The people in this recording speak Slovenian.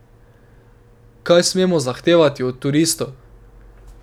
Kaj smemo zahtevat od turistov?